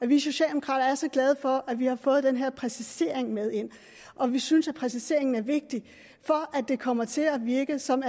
vi socialdemokrater er så glade for at vi har fået den her præcisering med ind og vi synes at præciseringen er vigtig for at det kommer til at virke sådan